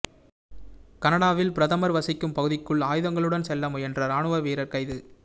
கனடாவில் பிரதமர் வசிக்கும் பகுதிக்குள் ஆயுதங்களுடன் செல்ல முயன்ற இராணுவவீரர் கைது